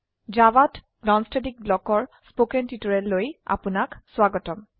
জাভাত non static ব্লকৰ কথ্ন টিউটোৰিয়েললৈ আপনাক স্বাগতম